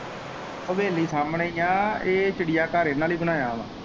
ਹਵੇਲੀ ਸਾਮਨੇ ਹੀ ਐ ਏਹ ਚਿੜੀਆਂ ਘਰ ਇਨਾਂ ਲਈ ਬਣਾਇਆ ਐ।